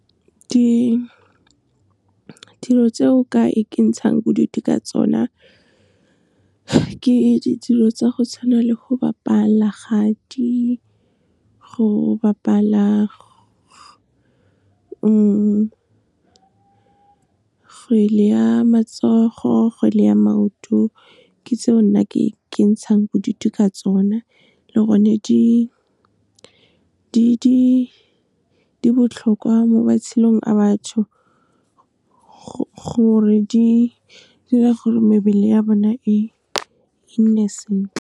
Dilo tse o ka ikentshang bodutu ka tsona ke dilo tsa go tshwana le go bapala kgati, go bapala kgwele ya matsogo, kgwele ya maoto. Ke tseo nna ke ikentshang bodutu ka tsona le gone di botlhokwa mo matshelong a batho gore di dira gore mebele ya bona e nne sentle.